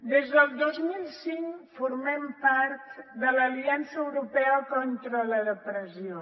des del dos mil cinc formem part de l’aliança europea contra la depressió